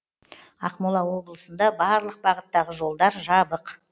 ақмола облысында барлық бағыттағы жолдар жабық